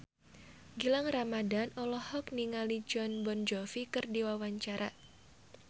Gilang Ramadan olohok ningali Jon Bon Jovi keur diwawancara